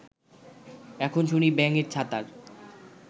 এখন শুনি ব্যাঙের ছাতার